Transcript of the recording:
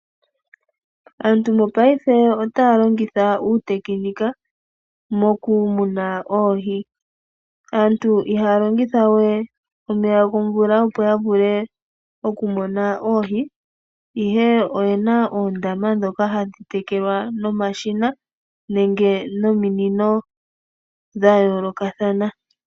Aantu mopaife ota longitha uutekinika moku muna oohi. Aantu ihaya longitha omeya gomvula opo ya vule oku muna oohi. Ihe oyena oondama dhoka hadhi tekelwa nomashina nenge nominino dhayoolokathana.